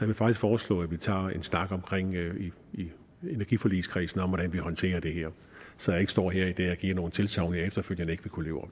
vil faktisk foreslå at vi tager en snak i energiforligskredsen om hvordan vi håndterer det her så jeg ikke stå her i dag og giver nogle tilsagn jeg efterfølgende ikke vil kunne leve